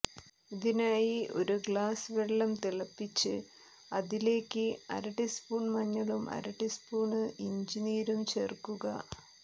ഇതിനായി ഒരു ഗ്ലാസ് വെള്ളം തിളപ്പിച്ച് അതിലേയ്ക്ക് അര ടീസ്പൂൺ മഞ്ഞളും അര ടീസ്പൂണ് ഇഞ്ചി നീരും ചേർക്കുക